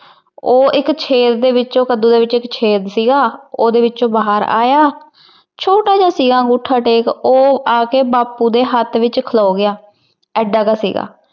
ਉਹ ਇੱਕ ਛੇਕ ਦੇ ਵਿਚੋਂ, ਕੱਦੂ ਦੇ ਵਿੱਚ ਇੱਕ ਛੇਕ ਸੀਗਾ। ਉਹਦੇ ਵਿਚੋਂ ਬਾਹਰ ਆਇਆ। ਛੋਟਾ ਜਾ ਸੀਗਾ ਅੰਗੁਠਾ ਟੇਕ। ਉਹ ਆਕੇ ਬਾਪੁੂ ਦੇ ਹੱਥ ਵਿਚ ਖਲੋ ਗਿਆ। ਐਡਾ ਜਾ ਸੀਗਾ।